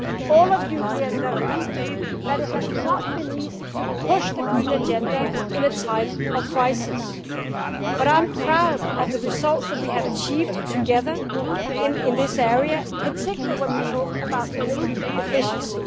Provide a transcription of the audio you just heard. All of you here know that it has not been easy to push the green agenda in a time of crisis, but I am proud of the results that we have achieved together in this area, particularly when we talk about energy efficiency.